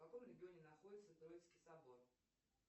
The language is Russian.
в каком регионе находится троицкий собор